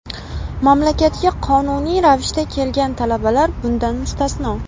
Mamlakatga qonuniy ravishda kelgan talabalar bundan mustasno.